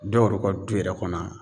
Dɔw yɛrɛ ka du yɛrɛ kɔnɔ